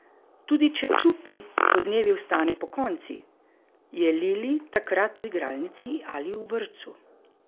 Tudi če Čupi podnevi ostane pokonci, je Lili takrat v igralnici ali v vrtcu.